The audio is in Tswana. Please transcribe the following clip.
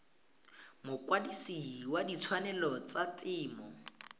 mokwadise wa ditshwanelo tsa temo